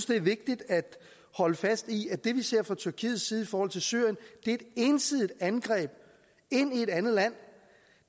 det er vigtigt at holde fast i at det vi ser fra tyrkiets side i forhold til syrien er et ensidigt angreb ind i et andet land